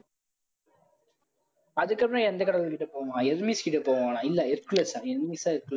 அதுக்கப்புறம் எந்த கடவுள்கிட்ட போவான் கிட்ட போவானா இல்லை